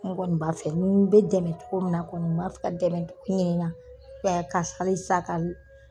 Ne kɔni b'a fɛ ni n be dɛmɛ cogo min na kɔni n b'a fɛ ka dɛmɛ ɲi na bɛɛ ka fali sa k'a do